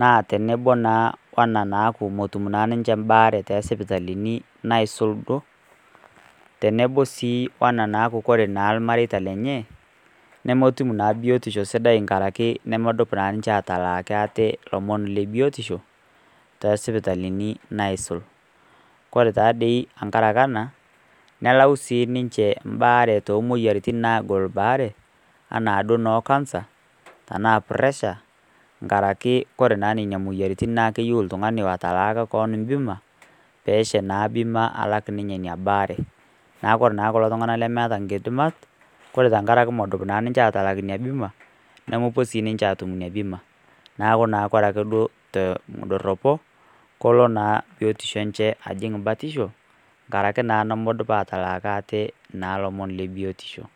naa teneboo naa ona naaku motum naa ninshe mbaare te sipitalini naisul duo tenebo sii onaa naaku kore naa lmareita lenyee nomtum naaa biotisho sidai tankarake nomdup naa ninshe atalaaki atee lomon le biotisho te sipitalini naisul kore taadei tankarakee anaa nelau sii ninshe mbaare tomoyaritin naagol baare ana duo noo cancer anaa preshaa nkarake kore naa nenia moyanitin naa keyeu ltungani lotalaaka koon mbima peesha naa mbima alak inia baare naku kore naa kulo tunganaa lemeata nkidimat kore tangarake modup naa atalak inia bima nomopuo sii ninshe atum inia bimaa naaku kore ake duo te ndoropo koloo naa biotisho enshe ajing batishoo ngarake nomodup atalaaki atee naa lomon le biotishoo